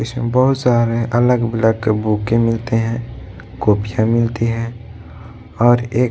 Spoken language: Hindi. इसमें बहुत सारे अलग बलग के बूके मिलते हैं कॉपियाँ मिलती है और एक --